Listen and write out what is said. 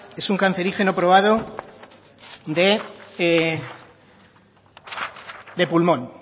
es un cancerígeno probado de pulmón